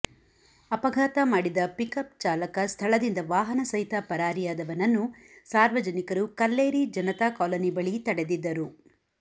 ಅಪಘಾತ ಮಾಡಿದ pick up ಚಾಲಕ ಸ್ಥಳದಿಂದ ವಾಹನ ಸಹಿತ ಪರಾರಿಯಾದವನನ್ನು ಸಾರ್ವಜನಿಕರು ಕಲ್ಲೇರಿ ಜನತಾ ಕಾಲೋನಿ ಬಳಿ ತಡೆದಿದ್ದರು